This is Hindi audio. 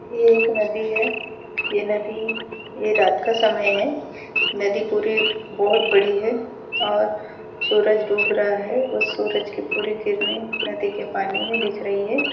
ये एक नदी है यह नदी यह रात का समय है नदी पूरी बहुत बड़ी है और सूरज डूब रहा है उस सूरज की पूरी किरने नदी के पानी में दिख रही है।